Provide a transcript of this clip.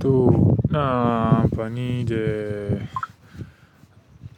To ina amfani da